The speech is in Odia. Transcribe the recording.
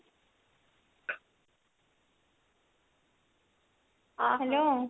hello